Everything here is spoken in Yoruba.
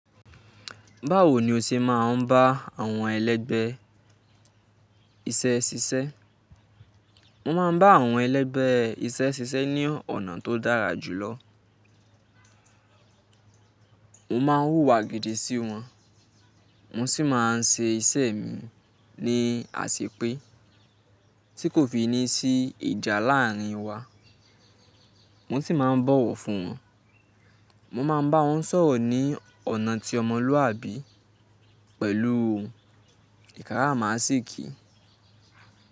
Báwo ni o ṣe máa ń bá àwọn ẹlẹgbẹ́ iṣẹ́ ṣiṣẹ́? Mo máa ń bá àwọn ẹlẹgbẹ́ iṣẹ́ ṣiṣẹ́ ní ọ̀nà tó dára jù lọ. Mo máa ń wùwà gidi sí wọn, mo sì máa ń ṣe iṣẹ́ mi ní àṣépé, tí kò fi ní sí ìjà láàárín wa. Mo sì máa ń bọ̀wọ̀ fún wọn. Mo máa ń bá wọn sọ̀rọ̀ ní ọ̀nà tí ọmọlúàbí pẹ̀lú ìkàrà másìkì.